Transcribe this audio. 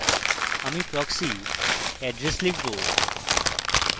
আমি proxy address লিখব